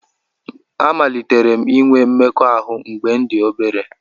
Amalitere m inwe mmekọahụ mgbe m dị obere